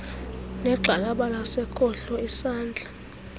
negxalaba lasekhohlo isandla